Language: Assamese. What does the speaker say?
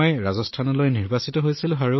মই ৰাজস্থানৰ বাবে নিৰ্বাচিত হৈছিলো